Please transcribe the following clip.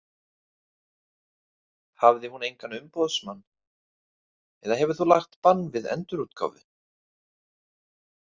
Hafði hún engan umboðsmann eða hefur þú lagt bann við endurútgáfu?